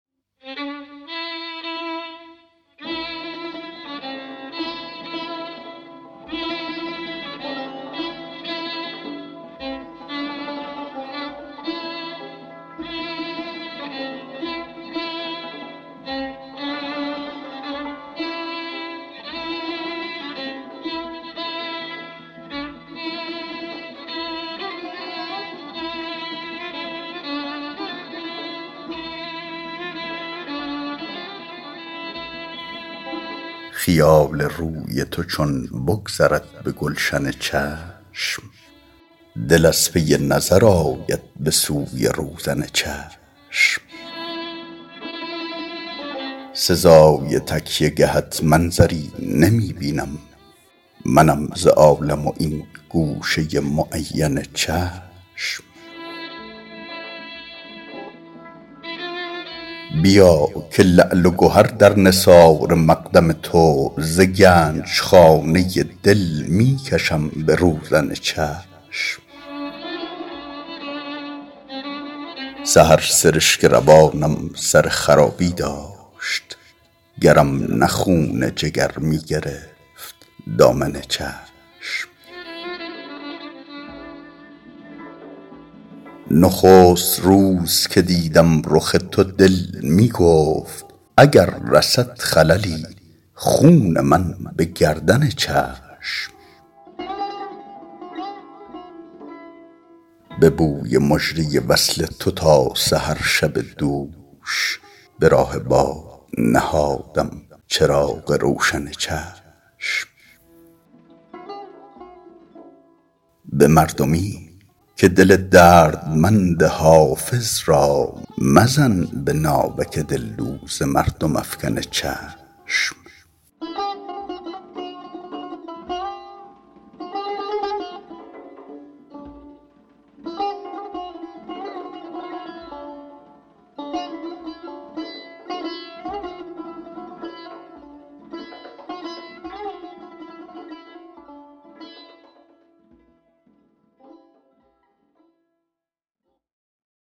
خیال روی تو چون بگذرد به گلشن چشم دل از پی نظر آید به سوی روزن چشم سزای تکیه گهت منظری نمی بینم منم ز عالم و این گوشه معین چشم بیا که لعل و گهر در نثار مقدم تو ز گنج خانه دل می کشم به روزن چشم سحر سرشک روانم سر خرابی داشت گرم نه خون جگر می گرفت دامن چشم نخست روز که دیدم رخ تو دل می گفت اگر رسد خللی خون من به گردن چشم به بوی مژده وصل تو تا سحر شب دوش به راه باد نهادم چراغ روشن چشم به مردمی که دل دردمند حافظ را مزن به ناوک دلدوز مردم افکن چشم